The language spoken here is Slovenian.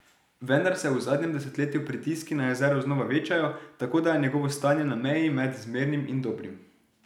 Vendar se v zadnjem desetletju pritiski na jezero znova večajo, tako da je njegovo stanje na meji med zmernim in dobrim.